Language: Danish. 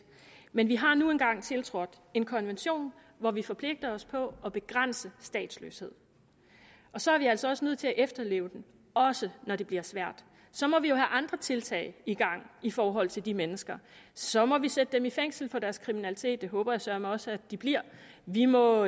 men vi har nu engang tiltrådt en konvention hvor vi forpligter os på at begrænse statsløshed og så er vi altså også nødt til at efterleve den også når det bliver svært så må vi jo have andre tiltag i gang i forhold til de mennesker så må vi sætte dem i fængsel for deres kriminalitet det håber jeg søreme også at de bliver vi må